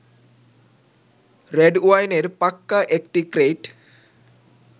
রেডওয়াইনের পাক্কা একটি ক্রেইট